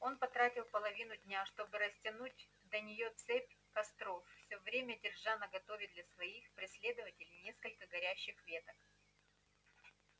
он потратил половину дня чтобы растянуть до неё цепь костров всё время держа наготове для своих преследователей несколько горящих веток